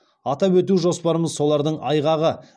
атап өту жоспарымыз солардың айғағы